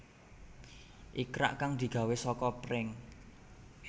Ikrak kang digawé saka pring